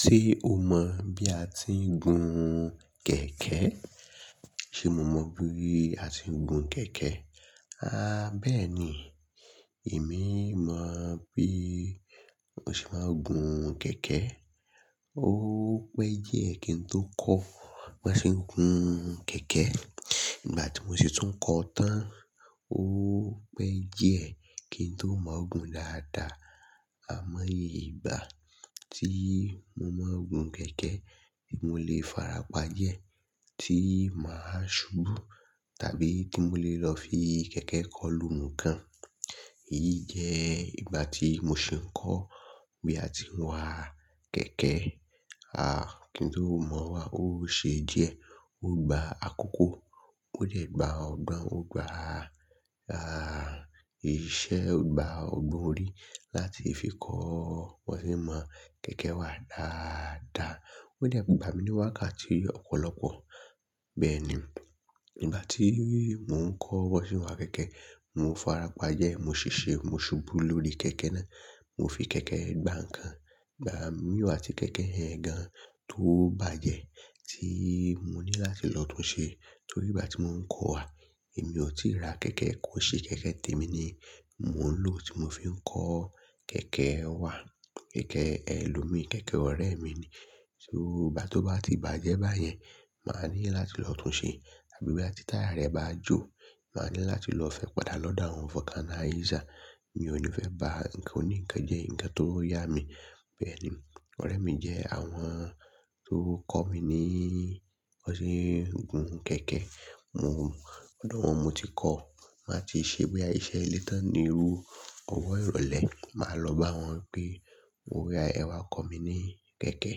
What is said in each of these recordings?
Ṣé o mọ̀ bí a ti ń gun kẹ̀kẹ́? Ṣé mo mọ bí a ti ń gun kẹ̀kẹ́? Há bẹ́ẹ̀ ni, èmi mọ bí mo ṣe máa ń gun kẹ̀kẹ́. Ó pẹ́ díẹ̀ kí n tó kọ́ bó ṣe ń gun kẹ̀kẹ́. Ìgbà tí mo sì tún kọ́ tán ó pẹ́ díẹ̀ kí n tó mọ̀ gun dáadáa. Àmọ́ ìgbà tí mo mọ̀ n gun kẹ̀kẹ́, èmi ò lè farapa jẹ́ tí mà á ṣubú tàbí tí mo lè lọ fi kẹ̀kẹ́ kọ́ lu nǹkan. Èyí jẹ́ ìgbà tí mo sì ń kọ́ bí a ti ń wa kẹ̀kẹ́. Há kí n tó mọ̀ wá ó ṣe díẹ̀, ó gba àkókò. Ó dẹ̀ gba ọgbọ̀n, ó gba, á, iṣẹ́, ó gba ọgbọ̀n orí láti fi kọ́ bó ṣe ń mọ̀ kẹ̀kẹ́ wà dáadáa. Ó dẹ̀ gba mi ní wákàtí ọ̀pọ̀lọpọ̀. Bẹ́ẹ̀ ni, ìgbà tí mò ń kọ́ bó ṣe ń wa kẹ̀kẹ́, mo farapa jẹ́, mo ṣiṣẹ́, mo ṣubú lórí kẹ̀kẹ́ náà, mo fi kẹ̀kẹ́ gbà nǹkan. Ìgbà mì o atí kẹ̀kẹ́ yẹn gan tó bàjẹ́ tí mo ní láti lọ tún un ṣe. Torí ìgbà tí mò ń kọ́ wá, èmi ò tí ì ra kẹ̀kẹ́ kò ṣe kẹ̀kẹ́ témi ni mò ń lò tí mo fi ń kọ́ kẹ̀kẹ́ wá. Kẹ̀kẹ́ ẹlòmíìí, kẹ̀kẹ́ ọ̀rẹ́ mi ni. Só bá tó bá ti bàjẹ́ báyẹn, mà a ní láti lọ tún un ṣe. Àbí bí táyà rẹ̀ bá jò, mà a ní láti lọ fẹ́ padà lọ́dọ̀ àwọn fọkánná ìṣà. Mi ò ní fẹ́ ba nǹkan oni nnkan jẹ́ nǹkan tó yá mi. Bẹ́ẹ̀ ni, ọ̀rẹ́ mi jẹ́ àwọn tó kọ́ mi ní bó ṣe ń gun kẹ̀kẹ́. Mo, lọ́dọ̀ wọn mo ti kọ́. Mà a ti ṣe bí i iṣẹ́ ẹlẹ́tàn ni irú ọwọ́ ìrọ̀lẹ́. Mà a lọ bá wọn pé mo oya ẹ wá kọ́ mi ní kẹ̀kẹ́.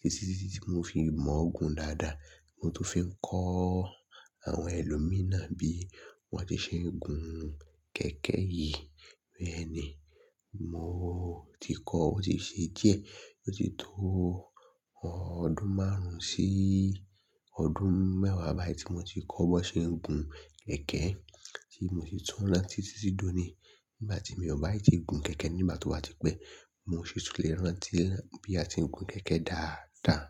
Títí tí mo fi mọ̀ gun dáadáa, mo tó fi ń kọ́ àwọn ẹlòmíì náà bí wọ́n ti ṣe ń gun kẹ̀kẹ́ yìí. Bẹ́ẹ̀ ni, mò ti kọ́ bó ti ṣe díẹ̀. Mo ti tó ọdún márùn-ún sí ọdún mẹ́wàá báyìí tí mo ti kọ́ bó ṣe ń gun kẹ̀kẹ́ tí mo sì tún rántí títí sí dóni. Nígbà tí mi ò bá ì tí gun kẹ̀kẹ́ nígbà tó bá tipẹ́, mo sì tún lè rántí bí a ti ń gun kẹ̀kẹ́ dáadáa.